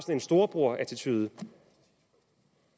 en storebrorattitude